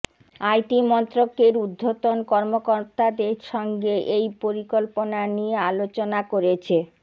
IT মন্ত্রকের উর্ধ্বতন কর্মকর্তাদের সঙ্গে এই পরিকল্পনা নিয়ে আলোচনা করেছে